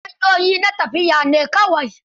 Wasu hanyoyi na tafiya ne kawai.